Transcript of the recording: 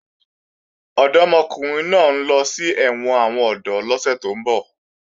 Ọ̀dọ́mọkùnrin náà ń lọ sí ẹ̀wọ̀n àwọn ọ̀dọ́ lọ́sẹ̀ tó ń bọ̀